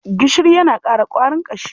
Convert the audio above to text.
Gishiri yana ƙara ƙwarin ƙashi.